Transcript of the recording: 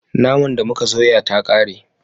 Naman da muka soya ta kare